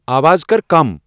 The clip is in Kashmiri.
اواز کر کم ۔